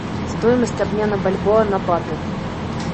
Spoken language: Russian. стоимость обмена бальбоа на баты